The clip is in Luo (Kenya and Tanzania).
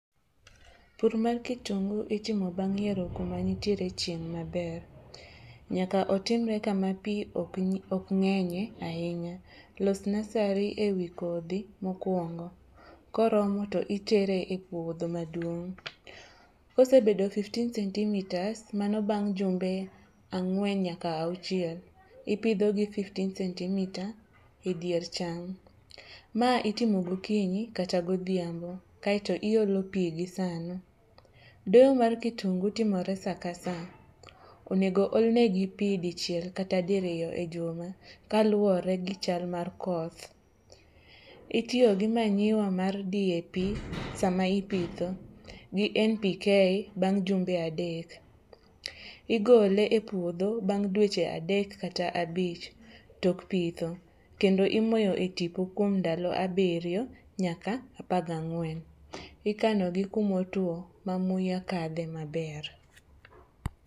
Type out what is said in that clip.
Pur mar kitungu itimo bang' yiero kuma nitiere chieng' maber. Nyaka otimre kama pi okng'enye ahinya. Los nasari e wi kodhi mokwongo koromo to itere e puodho maduong'. Kosebedo fifteen centimetres mano bang' jumbe ang'wen nyaka auchiel, ipidhogi fifteen centimetre e dier cham. Ma itimo gokinyi kata godhiambo kaeto iolo pi gi sano. Doyo mar kitungu timore sa ka sa. Onego olnegi pi dichiel kata diriyo e juma kaluwore gi chal mar koth. Itiyo gi manyiwa mar DAP sama ipitho gi NPK bang' jumbe adek. Igole e puodho bang' dweche adek kata abich tok pitho kendo imoyo e tipo kuom ndalo abiriyo nyaka apagang'wen. Ikanogi kumotwo ma muya kadhe maber.